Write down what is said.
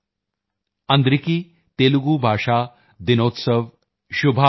ਅੰਦਰਿਕੀ ਤੇਲੁਗੂ ਭਾਸ਼ਾ ਦਿਨੋਤਸਵ ਸ਼ੁਭਾਕਾਂਕਸ਼ਲੁ